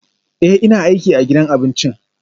Ee, ina aiki a gidan abincin